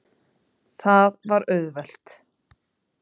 Það var auðvelt.